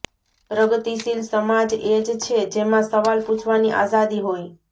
પ્રગતિશીલ સમાજ એ જ છે જેમાં સવાલ પૂછવાની આઝાદી હોય